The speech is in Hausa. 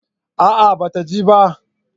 A'a ba ta je ba